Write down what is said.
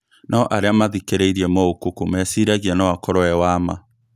No arĩa mathikĩrĩirie Moukoko meciragia noakorwo ewa ma